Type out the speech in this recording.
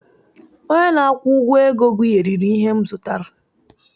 Onye na-akwụ ụgwọ ego gụgharịrị ihe m zụtara